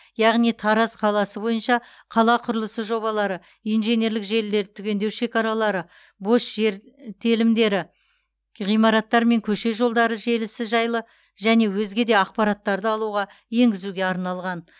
яғни тараз қаласы бойынша қала құрылысы жобалары инженерлік желілерді түгендеу шекаралары бос жер телімдері ғимараттар мен көше жолдары желісі жайлы және өзге де ақпараттарды алуға енгізуге арналған